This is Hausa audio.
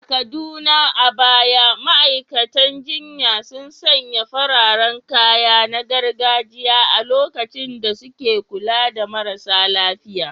A Kaduna, a baya ma’aikatan jinya sun sanya fararen kaya na gargajiya a lokacin da suke kula da marasa lafiya.